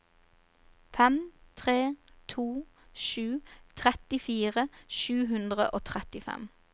fem tre to sju trettifire sju hundre og trettifem